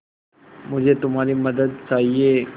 मुझे तुम्हारी मदद चाहिये